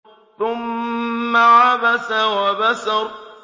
ثُمَّ عَبَسَ وَبَسَرَ